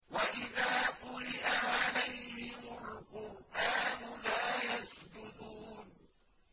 وَإِذَا قُرِئَ عَلَيْهِمُ الْقُرْآنُ لَا يَسْجُدُونَ ۩